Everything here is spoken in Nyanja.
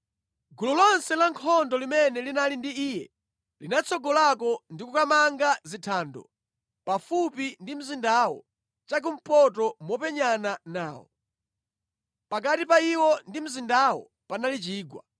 Gulu lonse la nkhondo limene linali ndi iye linatsogolako ndi kukamanga zithando pafupi ndi mzindawo chakumpoto mopenyana nawo. Pakati pa iwo ndi mzindawo panali chigwa.